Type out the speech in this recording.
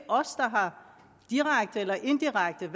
direkte eller indirekte